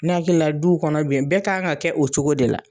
Ne hakili la duw kɔnɔ bi bɛɛ kan k'a kɛ o cogo de la.